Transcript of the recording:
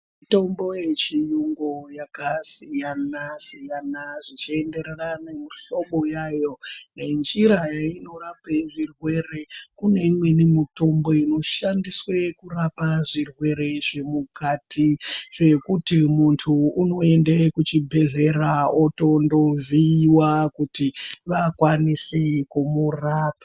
Mitombo yechiyungu yakasiyana siyana zvichiendarana nemuhlobo yayo nenjira inorape zvirwere kune imweni mitombo inoshandiswe kurapa zvirwere zvemukati zvekuti muntu unoyende kuzvibhedhlera otondoovhiwa kuti vakwanise kumurapa.